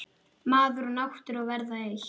Maður og náttúra verða eitt.